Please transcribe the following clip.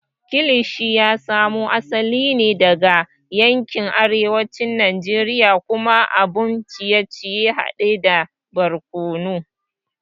Kilishi ya samo asali ne daga yankin arewacin Najeriya kuma abun ciye-ciye hade da barkono.